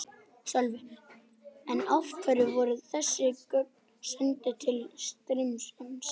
Sölvi: En af hverju voru þessi gögn send til Styrmis?